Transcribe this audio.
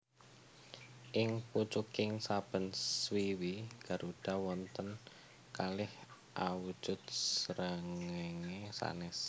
Ing pucuking saben swiwi garuda wonten kalih awujud srengéngé sanès